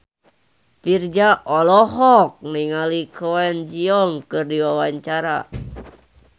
Virzha olohok ningali Kwon Ji Yong keur diwawancara